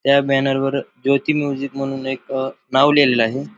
त्या बॅनर वर ज्योती म्युझिक म्हणून एक अ नाव लिहलेल आहे.